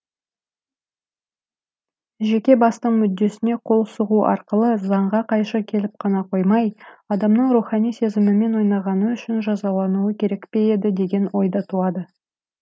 жеке бастың мүддесіне қол сұғу арқылы заңға қайшы келіп қана қоймай адамның рухани сезімімен ойнағаны үшін жазалануы керек пе еді деген ой да туады